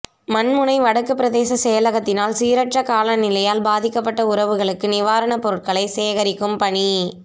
மண்முனை வடக்கு பிரதேச செயலகத்தினால் சீரற்ற காலநிலையால் பாதிக்கப்பட்ட உறவுகளுக்கு நிவாரணப் பொருட்களை சேகரிக்கும் பணி